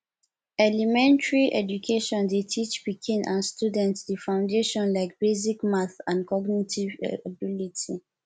elementary education dey teach pikin and student di foundation like basic math and cognitive ability